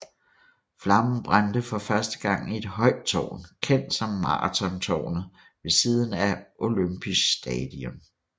Flammen brændte for første gang i et højt tårn kendt som Marathontårnet ved siden af Olympisch Stadion